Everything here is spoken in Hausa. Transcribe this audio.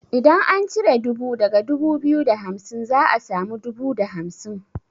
Idan an cire dubu daga dubu biyu da hamsin za a samu dubu da hamsin.